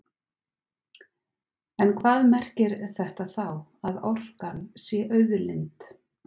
En hvað merkir þetta þá, að orkan sé auðlind?